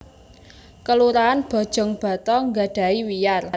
Kelurahan Bojongbata nggadhahi wiyar